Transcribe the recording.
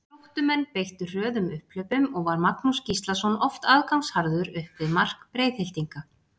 Gróttumenn beittu hröðum upphlaupum og var Magnús Gíslason oft aðgangsharður upp við mark Breiðhyltinga.